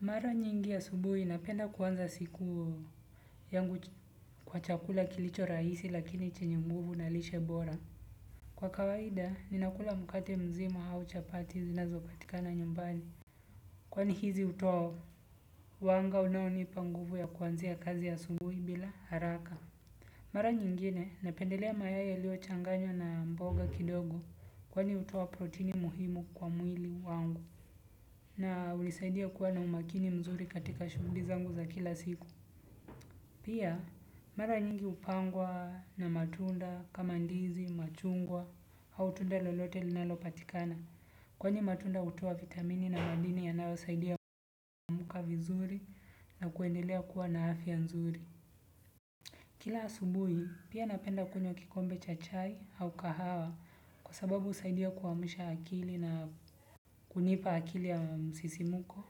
Mara nyingi asubuhi napenda kuanza siku yangu kwa chakula kilicho rahisi lakini chenye nguvu na lishe bora. Kwa kawaida, ninakula mkate mzima auchapati zinazo patika na nyumbani. Kwani hizi hutoa wanga unaonipa nguvu ya kuanzia kazi asubuhi bila haraka. Mara nyingine, napendelea mayai yaliyo changanywa na mboga kidogo kwani hutoa protini muhimu kwa mwili wangu. Na hunisaidia kuwa na umakini mzuri katika shughuli zangu za kila siku. Pia mara nyingi hupangwa na matunda, kamandizi, machungwa, au tunda lolote linalo patikana. Kwani matunda hutoa vitamini na madini ya nayo saidia kuamkavizuri na kuendelea kuwa na afya nzuri. Kila asubuhi pia napenda kunywa kikombe cha chai au kahawa kwa sababu husaidia kuamsha akili na kunipa akili ya msisimuko.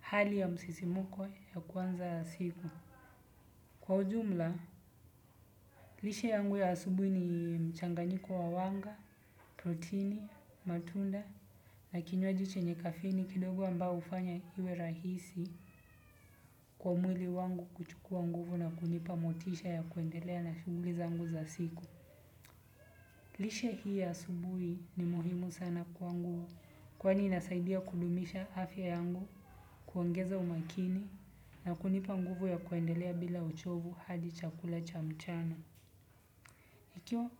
Hali ya msisimuko ya kuanza siku. Kwa ujumla, lishe yangu ya asubuhi ni mchanganyiko wa wanga, protini, matunda, na kinywaji che nye kafeini kidogo ambao hufanya iwe rahisi kwa mwili wangu kuchukua nguvu na kunipa motisha ya kuendelea na shughuliza ngu za siku. Lishe hii ya asubuhi ni muhimu sana kwa nguvu kwani inasaidia kudumisha afya yangu kuongeza umakini na kunipa nguvu ya kuendelea bila uchovu hadi chakula cha mchana ikiwa.